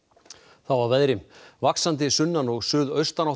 þá að veðri vaxandi sunnan og suðaustanátt á